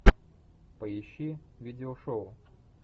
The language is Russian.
поищи видео шоу